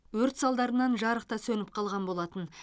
өрт салдарынан жарық та сөніп қалған болатын